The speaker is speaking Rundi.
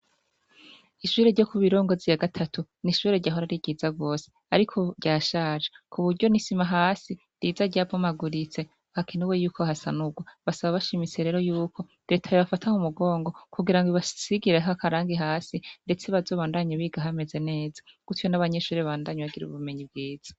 Ishure ryo ku birongozi ya gatatu nishure ryahora ri ryiza bose ariko ryashaje ku buryo nisima hasi riza ryapomaguritse bakinuwe y'uko hasa nubwo basaba bashimitse rero y'uko leta bebafataho umugongo kugira ngo ibasigireh akarangi hasi ndetse bazobandanye bigahameze neza gutyo n'abanyeshuri bandanye bagira ubumenyi bwiza.